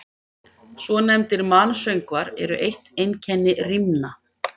Svonefndir mansöngvar eru eitt einkenni rímna.